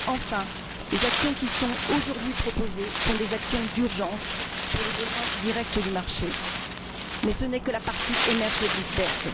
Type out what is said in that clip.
Enfin, les actions qui sont aujourd'hui proposées sont des actions d'urgence pour les besoins directs du marché mais ce n'est que la partie émergée de l'iceberg.